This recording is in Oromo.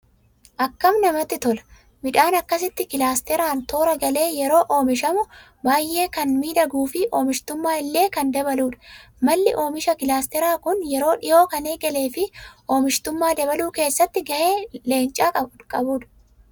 Akkam namatti tola! midhaan akkasitti kilaasteraan toora galee yeroo oomishamu baayyee kan miidhaguu fi oomishtummaa illee kan dabaludha. malli oomisha kilaasteraa kun yeroo dhihoo kan eegalee fi oomishtummaa dabaluu keessatti gahee leencaa qabudha.